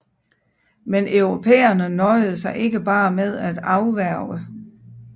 Men europæerne nøjede sig ikke bare med at afværge